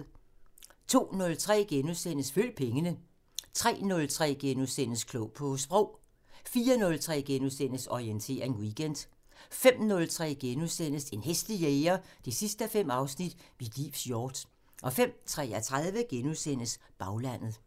02:03: Følg pengene * 03:03: Klog på Sprog * 04:03: Orientering Weekend * 05:03: En hæslig jæger 5:5 – Mit livs hjort * 05:33: Baglandet *